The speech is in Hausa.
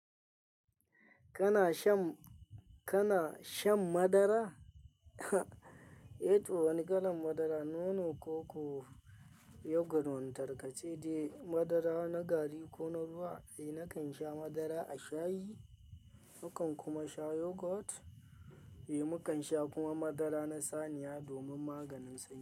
Kana shan, kana shan madara? Eh, to wani kalan madara nono, koko, yogurt wani tarkace, dai madara na gari ko na ruwa. Eh nakan sha madara a shayi, mukan kuma sha yogurt. Eh mu kan sha kuma madara na saniya domin maganin sanyi.